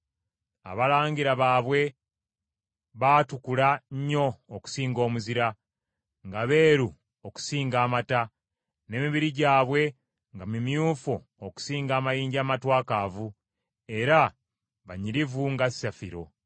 Abalangira baabwe baatukula nnyo okusinga omuzira, nga beeru okusinga amata; n’emibiri gyabwe nga mimyufu okusinga amayinja amatwakaavu, era banyirivu nga safiro.